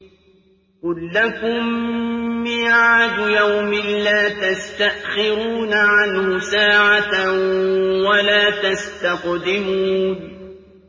قُل لَّكُم مِّيعَادُ يَوْمٍ لَّا تَسْتَأْخِرُونَ عَنْهُ سَاعَةً وَلَا تَسْتَقْدِمُونَ